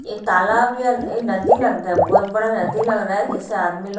ये तालाब या ये नदी लगता है बहुत बड़ा नदी लग रहा है जैसे आदमी लोग--